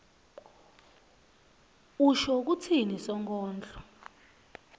usho kutsini sonkondlo